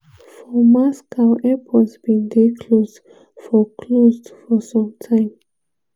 four moscow airports bin dey closed for closed for some time.